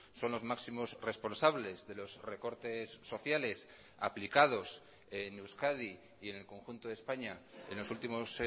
son los máximos responsables de los recortes sociales aplicados en euskadi y en el conjunto de españa en los últimos